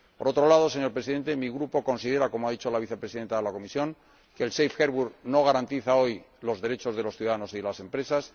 Por otro lado, señor Presidente, mi Grupo considera que, como ha dicho la Vicepresidenta de la Comisión, el Safe Harbour no garantiza hoy los derechos de los ciudadanos y de las empresas.